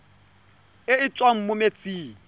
e e tswang mo metsing